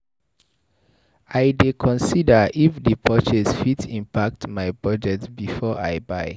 I dey consider if di purchase fit impact my budget before I buy.